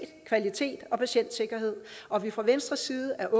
kvalitet og patientsikkerhed og fra venstres side er